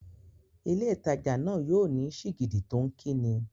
Ilé ìtajà náà yóò ní sìgìdì tó ń kí ni.